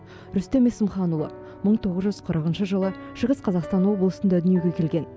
рүстем есімханұлы мың тоғыз жүз қырқыншы жылы шығыс қазақстан облысында дүниеге келген